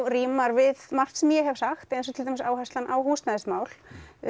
rímar við margt sem ég hef sagt eins og til dæmis áhersla á húsnæðismál